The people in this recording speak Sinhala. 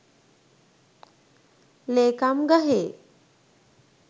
ලේකම් ගහේ